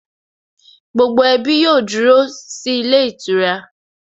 Gbogbo ẹbí yóò dúró sí ilé ìtura